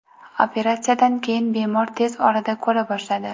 Operatsiyadan keyin bemor tez orada ko‘ra boshladi.